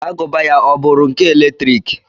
Agụba ya ọ bụụrụ nke eletrik?